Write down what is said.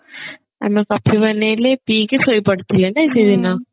ଆମେ coffee ବନେଇଲେ ପିଇକି ଶୋଇ ପଡିଥିଲେ ନାଇଁ ସେଦିନ